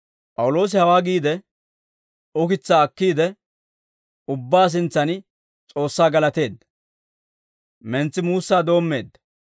P'awuloosi hawaa giide, ukitsaa akkiide, ubbaa sintsan S'oossaa galateedda; mentsi Muussaa doommeedda.